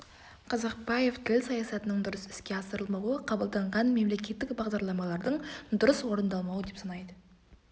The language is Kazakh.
казакпаев тіл саясатының дұрыс іске асырылмауы қабылданған мемлекеттік бағдарламалардың дұрыс орындалмауы деп санайды